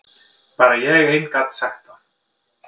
Bara ég ein gat sagt það.